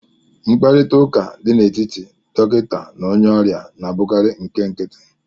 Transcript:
Mkparịta ụka dị n'etiti dọkịta na onye ọrịa na-abụkarị nke nkịtị